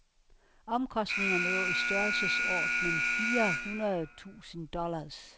Omkostningerne lå i størrelseordenen fire hundrede tusind dollars.